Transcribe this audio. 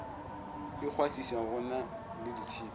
ikgwahliša go na le ditšhipi